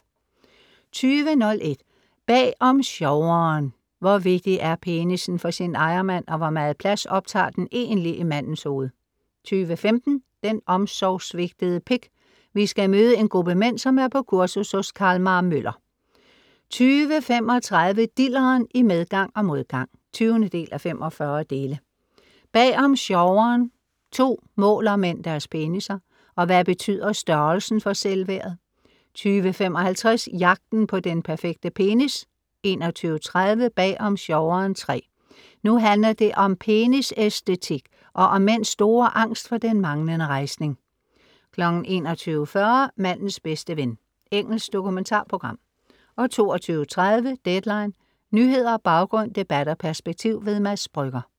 20:01 Bag om sjoveren I Hvor vigtig er penissen for sin ejermand, og hvor meget plads optager den egentlig i mandens hoved? 20:15 Den omsorgssvigtede pik. Vi skal møde en gruppe mænd, som er på kursus hos Carl-Mar Møller 20:35 Dilleren: i medgang og modgang. 20:45 Bag om sjoveren II Måler mænd deres penisser? Og hvad betyder størrelsen for selvværdet? 20:55 Jagten på den perfekte penis. 21:30 Bag om sjoveren III Nu handler det om penisæstetik og om mænds store angst for den manglende rejsning 21:40 Mandens bedste ven. Engelsk dokumentarprogram 22:30 Deadline. Nyheder, baggrund, debat og perspektiv. Mads Brügger